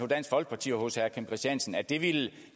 dansk folkeparti og hos herre kim christiansen at det ville